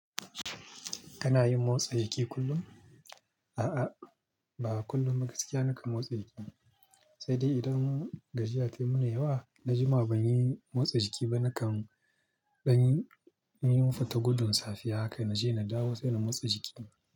Kana yin motsa jiki kullum? A'a, ba kullum ba gaskiya nakan motsa jiki ba. Sai dai idan gajiya ta yi mun yawa, na jima ban yi motsa jiki ba, nakan ɗan yi, na yi futa gudin safiya haka naje na dawo, sai na motsa jiki.